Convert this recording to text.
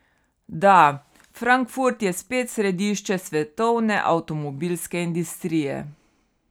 Da, Frankfurt je spet središče svetovne avtomobilske industrije.